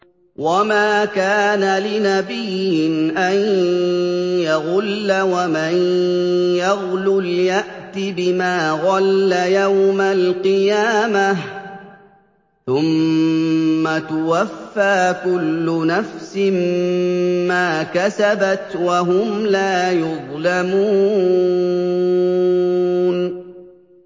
وَمَا كَانَ لِنَبِيٍّ أَن يَغُلَّ ۚ وَمَن يَغْلُلْ يَأْتِ بِمَا غَلَّ يَوْمَ الْقِيَامَةِ ۚ ثُمَّ تُوَفَّىٰ كُلُّ نَفْسٍ مَّا كَسَبَتْ وَهُمْ لَا يُظْلَمُونَ